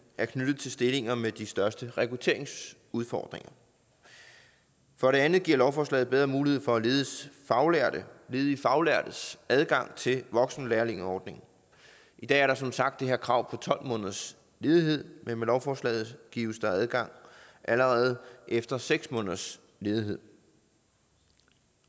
er knyttet til stillinger med de største rekrutteringsudfordringer for det andet giver lovforslaget bedre mulighed for ledige faglærtes ledige faglærtes adgang til voksenlærlingeordningen i dag er der som sagt det her krav på tolv måneders ledighed men med lovforslaget gives der adgang allerede efter seks måneders ledighed